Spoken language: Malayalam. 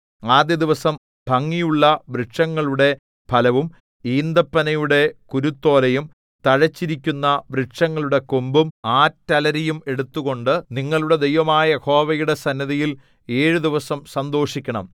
ആദ്യ ദിവസം ഭംഗിയുള്ള വൃക്ഷങ്ങളുടെ ഫലവും ഈന്തപ്പനയുടെ കുരുത്തോലയും തഴച്ചിരിക്കുന്ന വൃക്ഷങ്ങളുടെ കൊമ്പും ആറ്റലരിയും എടുത്തുകൊണ്ട് നിങ്ങളുടെ ദൈവമായ യഹോവയുടെ സന്നിധിയിൽ ഏഴു ദിവസം സന്തോഷിക്കണം